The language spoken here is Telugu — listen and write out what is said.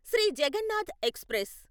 శ్రీ జగన్నాథ్ ఎక్స్ప్రెస్